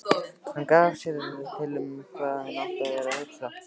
Hann gat sér til um hvað hún væri að hugsa.